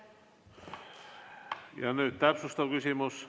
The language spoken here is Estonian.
Ja nüüd täpsustav küsimus.